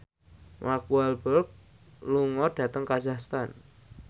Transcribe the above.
Mark Walberg lunga dhateng kazakhstan